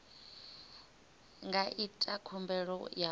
nga ita khumbelo ya u